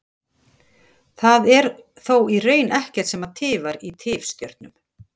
Það er þó í raun ekkert sem tifar í tifstjörnum.